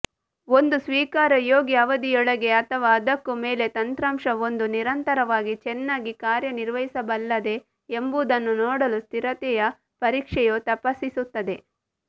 ಒಂದು ಸ್ವೀಕಾರಯೋಗ್ಯ ಅವಧಿಯೊಳಗೆ ಅಥವಾ ಅದಕ್ಕೂ ಮೇಲೆ ತಂತ್ರಾಂಶವೊಂದು ನಿರಂತರವಾಗಿ ಚೆನ್ನಾಗಿ ಕಾರ್ಯನಿರ್ವಹಿಸಬಲ್ಲದೇ ಎಂಬುದನ್ನು ನೋಡಲು ಸ್ಥಿರತೆಯ ಪರೀಕ್ಷೆಯು ತಪಾಸಿಸುತ್ತದೆ